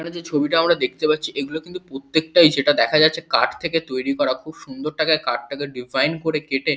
এখানে যে ছবিটা আমরা দেখতে পাচ্ছি এগুলো কিন্তু প্রত্যেকটাই যেটা দেখা যাচ্ছে কাঠ থেকে তৈরি করা খুব সুন্দর টাকায় কাঠটাকে ডিজাইন করে কেটে--